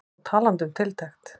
Og talandi um tiltekt.